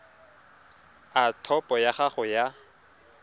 a topo ya gago ya